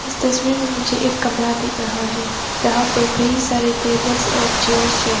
इस तस्वीर में मुझे एक कमरा दिख रहा है जहां पर कई सारे टेबल्स और चेयर्स हैं।